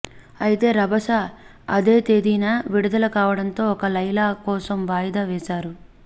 అయితే రభస అదే తేదీన విడుదల కావడంతో ఒక లైలా కోసం వాయిదా వేసారు